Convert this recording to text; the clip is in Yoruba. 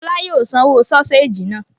Fọlá yóò sanwó sọ́séjì náà.